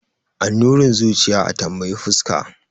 Annurin zuciya a tambayi fuska.